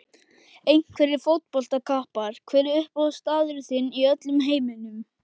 Einhverjir fótboltakappar Hver er uppáhaldsstaðurinn þinn í öllum heiminum?